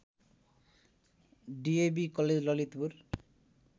DAV college Lalitpur